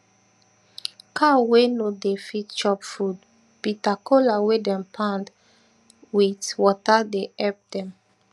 cow wey no dey fit chop food bita kola wey dem pound weit water dey epp dem